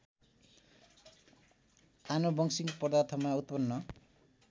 आनुवंशिक पदार्थमा उत्पन्न